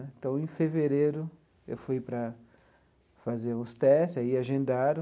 Então, em fevereiro, eu fui para fazer os testes aí agendaram.